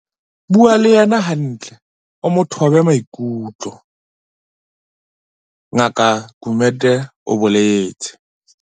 "Bua le yena hantle o mo thobe maikutlo," Ngaka Gumede o boletse.